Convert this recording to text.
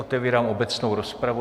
Otevírám obecnou rozpravu.